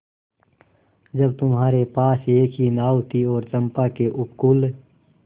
जब तुम्हारे पास एक ही नाव थी और चंपा के उपकूल